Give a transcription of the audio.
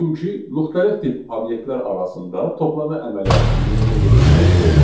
Çünki müxtəlif tip obyektlər arasında toplama əməliyyatını yerinə yetirmək olmaz.